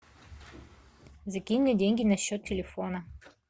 закинь мне деньги на счет телефона